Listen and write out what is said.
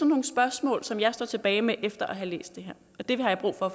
nogle spørgsmål som jeg står tilbage med efter at have læst det her og dem har jeg brug for